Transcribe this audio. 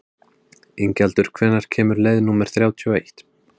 Ingjaldur, hvenær kemur leið númer þrjátíu og eitt?